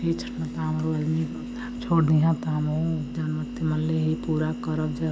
ये छठ माता छोड़ दीहन हमहुं मनली हइ पूरा कर जब --